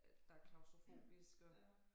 At der klaustrofobisk og